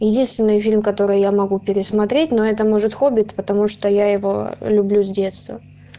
единственный фильм который я могу пересмотреть но это может хоббит потому что я его люблю с детства